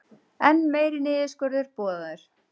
Enn meiri niðurskurður boðaður